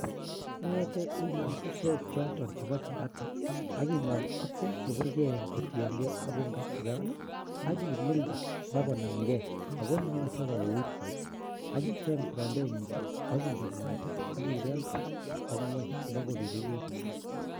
Ingetee inaam bushiek choton chebo chapati, ak ingol ak beek kotienge ak ungachukan I ak imildee bakonamgee ak moyoche kouit soiti. Ak icheng frampenit, ak inset mwaita ak ibel barak ak ngwony ibokobirir it.